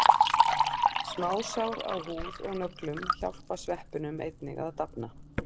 Smásár á húð og nöglum hjálpa sveppunum einnig að dafna.